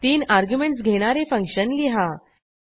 3 arguments घेणारे function लिहा